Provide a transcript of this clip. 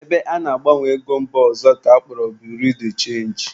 Ebe ana-agbanwe ego mba ọzọ ka akpọrọ Birui de chenji